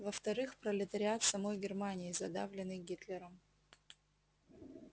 во вторых пролетариат самой германии задавленный гитлером